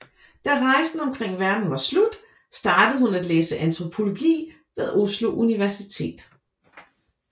Da rejsen omkring verden var slut startede hun at læse antropologi ved Oslo Universitet